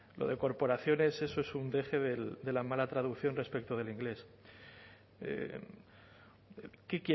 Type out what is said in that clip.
lo de corporaciones eso es un deje de la mala traducción respecto del inglés qué